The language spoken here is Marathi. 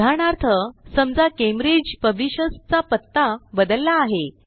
उदाहरणार्थ समजा कॅम्ब्रिज पब्लिशर्स चा पत्ता बदलला आहे